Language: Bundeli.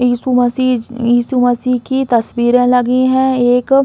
इशू मसिज इशू मसि की तस्वीरे लगी हैं। एक --